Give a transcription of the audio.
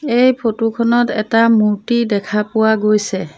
এই ফটো খনত এটা মূৰ্ত্তি দেখা পোৱা গৈছে।